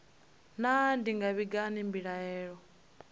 naa ndi nga vhiga hani mbilaelo